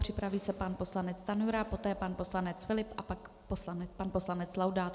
Připraví se pan poslanec Stanjura, poté pan poslanec Filip a pak pan poslanec Laudát.